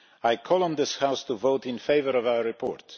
I call on this House to vote in favour of our report.